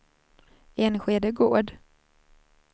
Enskede Gård